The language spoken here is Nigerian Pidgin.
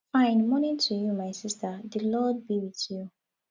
fine morning to you my sister the lord be with tyou